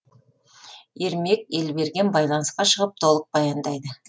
ермек елберген байланысқа шығып толық баяндайды